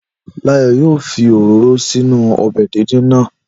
Láyọ̀ yoo fi òróró sínú ọbẹ̀ díndín náà.